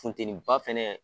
Funtɛnin ba fɛnɛ